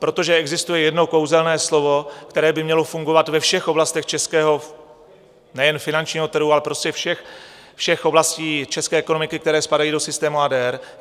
Protože existuje jedno kouzelné slovo, které by mělo fungovat ve všech oblastech českého, nejen finančního trhu, ale prostě všech oblastí české ekonomiky, které spadají do systému ADR.